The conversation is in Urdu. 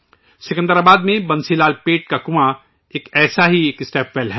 سکندرآباد میں بنسی لالپیٹ کنواں ایک ایسا ہی اسٹیپ ویل ہے